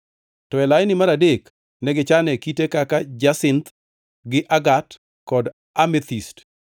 to e laini mar adek ne gichane kite kaka jasinth, gi agat kod amethist